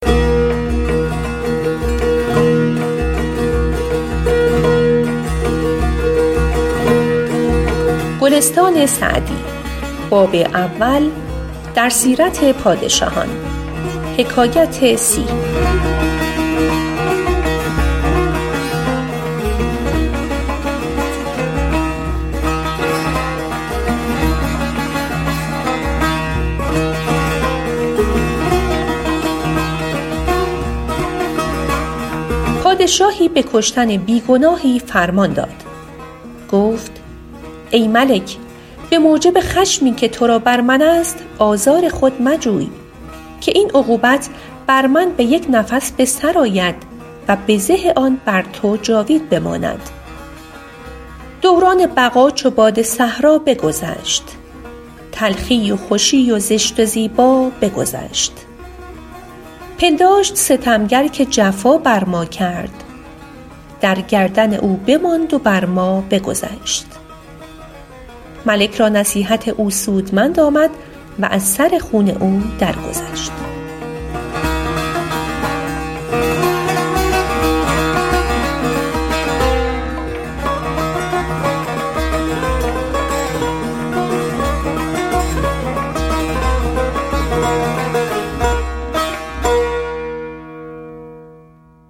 پادشاهی به کشتن بی گناهی فرمان داد گفت ای ملک به موجب خشمی که تو را بر من است آزار خود مجوی که این عقوبت بر من به یک نفس به سر آید و بزه آن بر تو جاوید بماند دوران بقا چو باد صحرا بگذشت تلخی و خوشی و زشت و زیبا بگذشت پنداشت ستمگر که جفا بر ما کرد در گردن او بماند و بر ما بگذشت ملک را نصیحت او سودمند آمد و از سر خون او در گذشت